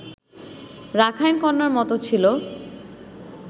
Rakhine কন্যার মতো ছিল